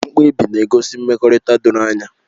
Mkpebi na-egosi mmekọrịta doro anya